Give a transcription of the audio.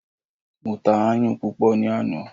Mo ta ayùn púpọ̀ ní àná.